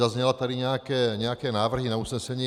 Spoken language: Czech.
Zazněly tady nějaké návrhy na usnesení.